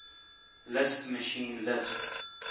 lisp machine lisp